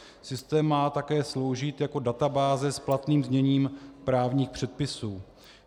Systém má také sloužit jako databáze s platným zněním právních předpisů.